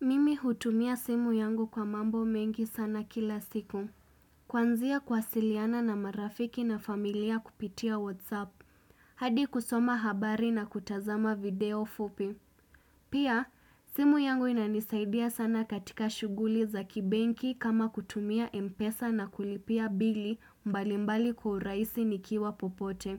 Mimi hutumia simu yangu kwa mambo mengi sana kila siku Kwanzia kuwasiliana na marafiki na familia kupitia whatsapp hadi kusoma habari na kutazama video fupi Pia simu yangu inanisaidia sana katika shughuli za kibenki kama kutumia mpesa na kulipia bili mbali mbali kwa urahisi nikiwa popote